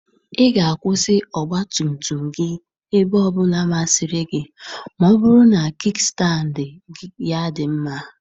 Ị ga akwụsị ọgba tum tum gị ebe ọ bụla masịrị gị ma ọ bụrụ na kikstandị ya dị mma.